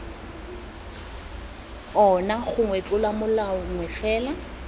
ona gongwe tlolomolao nngwe fela